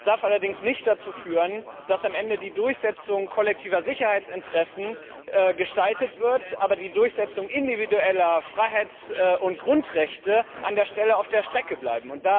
Das darf allerdings nicht dazu führen, dass am Ende die Durchsetzung kollektiver Sicherheitsinteressen gestaltet wird, aber die Durchsetzung individueller Freiheits und Grundrechte an dieser Stelle auf der Strecke bleibt.